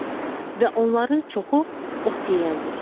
Və onların çoxu ot yeyəndir.